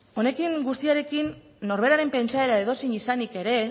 honekin guztiarekin norberaren pentsaera edozein izanik ere